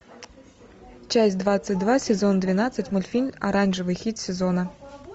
часть двадцать два сезон двенадцать мультфильм оранжевый хит сезона